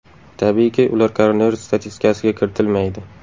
Tabiiyki ular koronavirus statistikasiga kiritilmaydi.